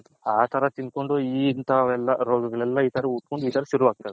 ಆ ತರ ತಿನ್ಕೊಂಡ್ ಇನ್ಥವ್ ಎಲ್ಲಾ ರೋಗಗಳು ಎಲ್ಲಾ ಈ ತರ ಶುರು